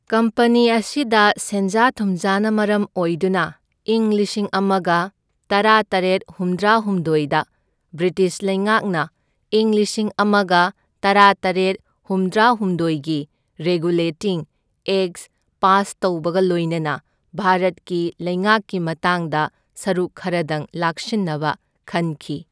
Company ꯑꯁꯤꯗ ꯁꯦꯟꯖꯥ ꯊꯨꯝꯖꯥꯅ ꯃꯔꯝ ꯑꯣꯏꯗꯨꯅ ꯏꯪ ꯂꯤꯁꯤꯡ ꯑꯃꯒ ꯇꯔꯥꯇꯔꯦꯠ ꯍꯨꯝꯗ꯭ꯔꯥꯍꯨꯝꯗꯣꯢꯗ ꯕ꯭ꯔꯤꯇꯤꯁ ꯂꯩꯉꯥꯛꯅ ꯢꯪ ꯂꯤꯁꯤꯡ ꯑꯃꯒ ꯇꯔꯥꯇꯔꯦꯠ ꯍꯨꯝꯗ꯭ꯔꯥꯍꯨꯝꯗꯣꯢꯒꯤ ꯔꯦꯒꯨꯂꯦꯇꯤꯡ ꯑꯦꯛꯠ ꯄꯥꯁ ꯇꯧꯕꯒ ꯂꯣꯏꯅꯅ ꯚꯥꯔꯠꯀꯤ ꯂꯩꯉꯥꯛꯀꯤ ꯃꯇꯥꯡꯗ ꯁꯔꯨꯛ ꯈꯔꯗꯪ ꯂꯥꯛꯁꯤꯟꯅꯕ ꯈꯟꯈꯤ꯫